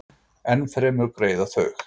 Ennfremur greiða þau